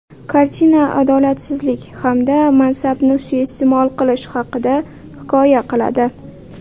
Kartina adolatsizlik hamda mansabni suiiste’mol qilish haqida hikoya qiladi.